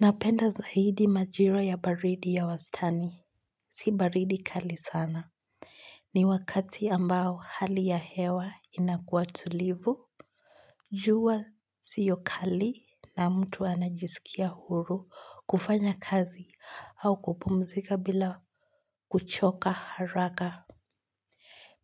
Napenda zaidi majira ya baridi ya wastani. Si baridi kali sana. Ni wakati ambao hali ya hewa inakuwa tulivu. Jua sio kali na mtu anajisikia huru kufanya kazi au kupumzika bila kuchoka haraka.